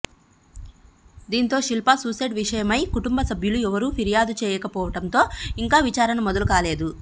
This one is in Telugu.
దీంతో శిల్ప సూసైడ్ విషయమై కుటుంబ సభ్యులు ఎవరూ ఫిర్యాదు చేయక పోవడంతో ఇంకా విచారణ మొదలు కాలేదు